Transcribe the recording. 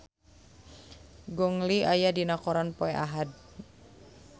Gong Li aya dina koran poe Ahad